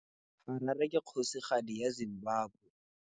Harare ke kgosigadi ya Zimbabwe.